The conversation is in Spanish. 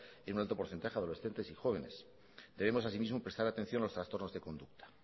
en un alto porcentaje adolescentes y jóvenes debemos así mismo prestar atención a los trastornos de conducta